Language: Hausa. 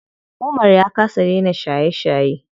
Umar ya kasa dena shaye shaye.